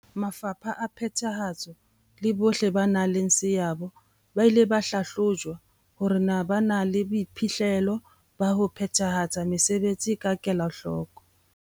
Mafapha a phethahatso le bohle ba nang le seabo ba ile ba hlahlojwa hore na ba na le boiphihlelo ba ho phethahatsa mesebetsi ka kelahloko.